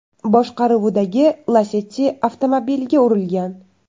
boshqaruvidagi Lacetti avtomobiliga urilgan.